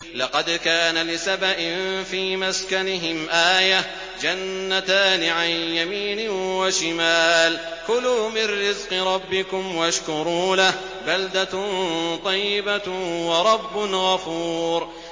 لَقَدْ كَانَ لِسَبَإٍ فِي مَسْكَنِهِمْ آيَةٌ ۖ جَنَّتَانِ عَن يَمِينٍ وَشِمَالٍ ۖ كُلُوا مِن رِّزْقِ رَبِّكُمْ وَاشْكُرُوا لَهُ ۚ بَلْدَةٌ طَيِّبَةٌ وَرَبٌّ غَفُورٌ